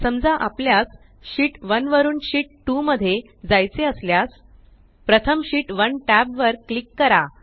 समजा आपल्यास शीत 1 वरुन शीत 2 मध्ये जायचे असल्यास प्रथम शीत 1 टॅब वर क्लिक करा